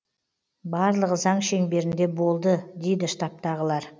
барлығы заң шеңберінде болды дейді штабтағылар